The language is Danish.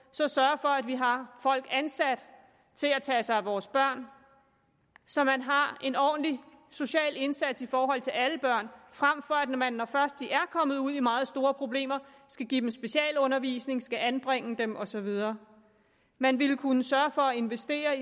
så sørge for at vi har folk ansat til at tage sig af vores børn så man har en ordentlig social indsats i forhold til alle børn frem for at man når først de er kommet ud i meget store problemer skal give dem specialundervisning skal anbringe dem og så videre man ville kunne sørge for at investere